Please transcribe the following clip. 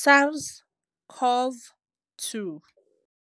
SARS-CoV-2.